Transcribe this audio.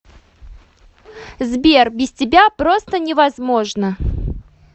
сбер без тебя просто невозможно